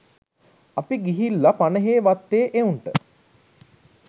අපි ගිහිල්ල පනහේ වත්තේ එවුන්ට